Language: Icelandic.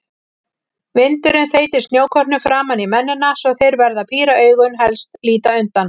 Vindurinn þeytir snjókornum framan í mennina svo þeir verða að píra augun, helst líta undan.